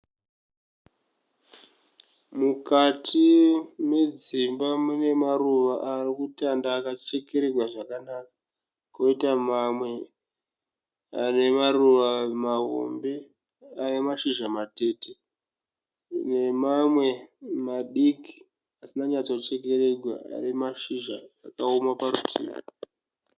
Mukati medzimba mune maruva ari kutanda akachekererwa zvakanaka kwoita mamwe ane maruva mahombe ane mashizha matete nemamwe madiki asina kunyatsochekererwa ane mashizha akaoma parutivi.